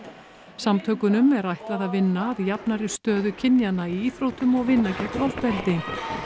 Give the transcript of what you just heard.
samtökunum er ætlað að vinna að jafnari stöðu kynjanna í íþróttum og vinna gegn ofbeldi